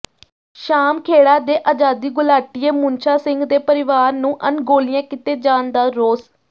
ਸ਼ਾਮਖੇੜਾ ਦੇ ਆਜ਼ਾਦੀ ਘੁਲਾਟੀਏ ਮੁਨਸ਼ਾ ਸਿੰਘ ਦੇ ਪਰਿਵਾਰ ਨੂੰ ਅਣਗੌਲਿਆ ਕੀਤੇ ਜਾਣ ਦਾ ਰੋਸ